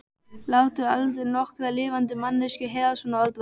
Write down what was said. Láttu aldrei nokkra lifandi manneskju heyra svona orðbragð.